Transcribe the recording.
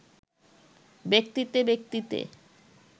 ব্যক্তিতে ব্যক্তিতে